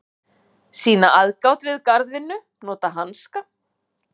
Sýna aðgát við garðvinnu, nota hanska.